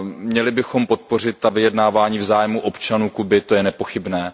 Měli bychom podpořit ta vydjednávání v zájmu občanů Kuby, to je nepochybné.